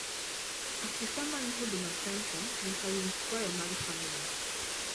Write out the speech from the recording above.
afisa man huduma center nyaka winj kwayo mar famili